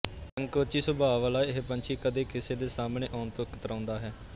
ਸੰਕੋਚੀ ਸੁਭਾਅ ਵਾਲਾ ਇਹ ਪੰਛੀ ਕਦੇ ਕਿਸੇ ਦੇ ਸਾਹਮਣੇ ਆਉਣ ਤੋਂ ਕਤਰਾਉਂਦਾ ਹੈ